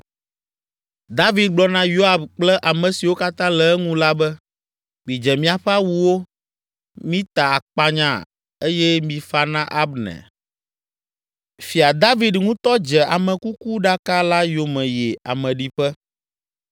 David gblɔ na Yoab kple ame siwo katã le eŋu la be, “Midze miaƒe awuwo, mita akpanya eye mifa na Abner.” Fia David ŋutɔ dze amekukuɖaka la yome yi ameɖiƒe.